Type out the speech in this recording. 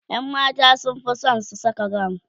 ƴan mata sunfi San su Saka gawun